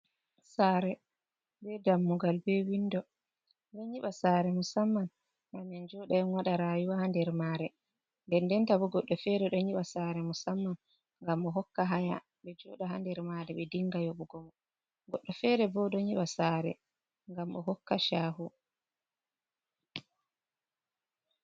Sare be dammugal be windo, ɓe ɗo nyiɓa sare musamma ngam en joɗa en waɗa rayuwa ha nder maree. Nden denta bo goɗɗo feere ɗo nƴiɓa sare musamman ngam o hokka hayaa ɓe jooɗa ha nder maree ɓe dinga yooɓugo mo, goɗɗo feere bo ɗo nƴiɓa sare ngam o hokka chaahu.